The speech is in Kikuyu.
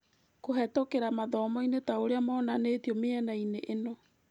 Kũhetũkĩra mathomo-inĩ taũria monanĩĩtio mĩenainĩ ĩno.